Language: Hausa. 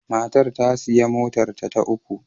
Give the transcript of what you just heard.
Matar ta sayi motarta ta uku.